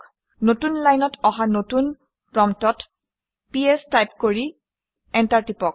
নতুন লাইনত অহা নতুন প্ৰম্পটত পিএছ টাইপ কৰি এণ্টাৰ টিপক